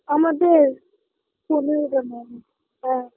আমাদের পনেরো টা হ্যাঁ হ্যাঁ